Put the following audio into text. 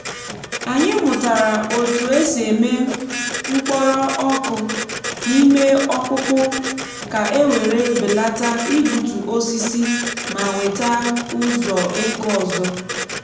anyị mụtara otu esi eme mkpọrọ ọku n’ime ọkpụkpụ ka e wèré belata igbutu osisi ma nweta ụzọ ego ọzọ.